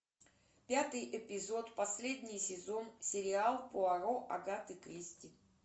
пятый эпизод последний сезон сериал пуаро агаты кристи